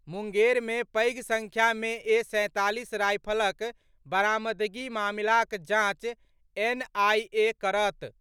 मुंगेर मे पैघ संख्या मे ए. सैंतालीस रायफलक बरामदगी मामिलाक जांच एनआईए करत।